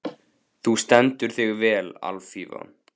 Þú stendur þig vel, Alfífa!